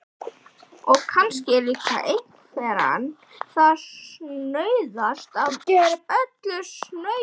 Og kannski er líka einveran það snauðasta af öllu snauðu.